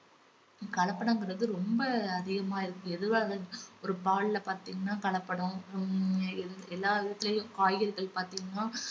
கலப்படம்குறது ரொம்ப அதிகமா இருக்கு எதுவா~ ஒரு பால்ல பாத்தீங்கன்னா கலப்படம் ஹம் எல்~ எல்லாவற்றிலும் காய்கறிகள் பார்த்தீங்கன்னா